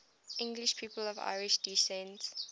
english people of irish descent